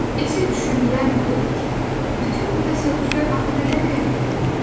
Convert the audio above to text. Esi düşündürən də o idi ki, bütün bu təsadüflər axı nədən irəli gəlir?